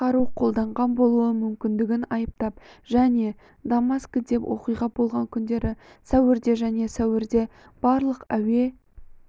қару қолданған болуы мүмкіндігін айыптап және дамаскіден оқиға болған күндері сәуірде және сәуірде барлық әуе